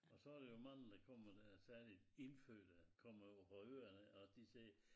Og så der jo mange der kommer dér særligt indfødte kommer ovre fra øerne af og de siger